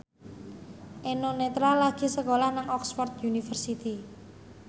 Eno Netral lagi sekolah nang Oxford university